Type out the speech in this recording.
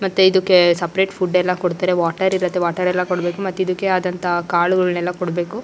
ಮತ್ತೆ ಇದಕ್ಕೆ separate food ಎಲ್ಲ ಕೊಡ್ತಾರೆ ವಾಟರ್ ಇರುತ್ತೆ ವಾಟರ್ ಎಲ್ಲ ಕೊಡ್ಬೇಕು ಮತ್ತೆ ಇದಕ್ಕೆ ಆದಂತ ಕಾಳುಗಳನ್ನೆಲ್ಲ ಕೊಡಬೇಕು.